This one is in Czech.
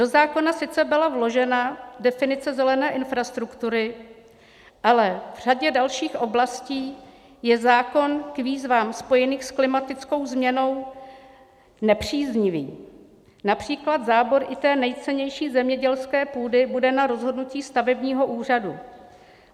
Do zákona sice byla vložena definice zelené infrastruktury, ale v řadě dalších oblastí je zákon k výzvám spojeným s klimatickou změnou nepříznivý, například zábor i té nejcennější zemědělské půdy bude na rozhodnutí stavebního úřadu.